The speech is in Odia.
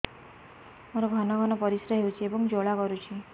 ମୋର ଘନ ଘନ ପରିଶ୍ରା ହେଉଛି ଏବଂ ଜ୍ୱାଳା କରୁଛି